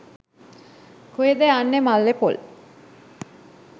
කොහෙද යන්නේ මල්ලේ පොල්.